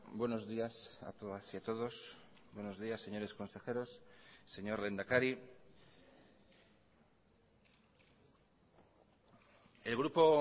buenos días a todas y a todos buenos días señores consejeros señor lehendakari el grupo